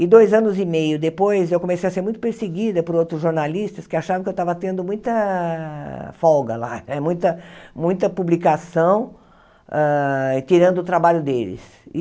E dois anos e meio depois eu comecei a ser muito perseguida por outros jornalistas que achavam que eu estava tendo muita folga lá, eh muita muita publicação, tirando o trabalho deles. E